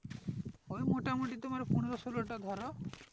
ওই মোটামোটি তোমার পনেরো ষোলো টা ধরো